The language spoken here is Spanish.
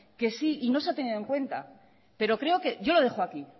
que sí y no se ha tenido en cuenta pero creo que yo lo dejo aquí